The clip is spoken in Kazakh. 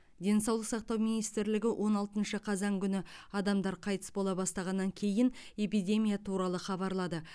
денсаулық сақтау министрлігі он алтыншы қазан күні адамдар қайтыс бола бастағаннан кейін эпидемия туралы хабарлады